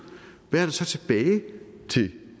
hvad er der så tilbage til